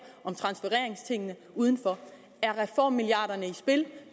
om transfereringstingene udenfor er reformmilliarderne i spil